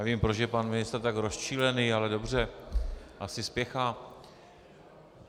Já nevím, proč je pan ministr tak rozčilený, ale dobře, asi spěchá.